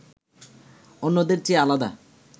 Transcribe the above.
অন্যদের চেয়ে আলাদা